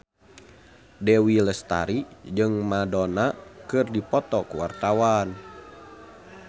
Dewi Lestari jeung Madonna keur dipoto ku wartawan